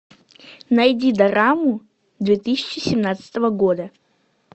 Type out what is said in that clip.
найди дораму две тысячи семнадцатого года